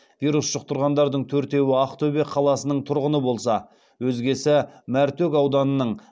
вирус жұқтырғандардың төртеуі ақтөбе қаласының тұрғыны болса өзгесі мәртөк ауданының